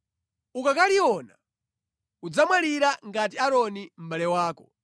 Ukakaliona udzamwalira ngati Aaroni mʼbale wako,